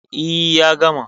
E, ya gama.